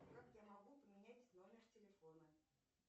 как я могу поменять номер телефона